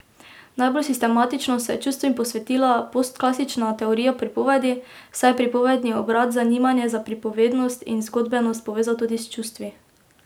Najbolj sistematično se je čustvom posvetila postklasična teorija pripovedi, saj je pripovedni obrat zanimanje za pripovednost in zgodbenost povezal tudi s čustvi.